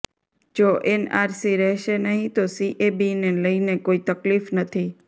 જો એનઆરસી રહેશે નહીં તો સીએબીને લઇને કોઇ તકલીફ નથી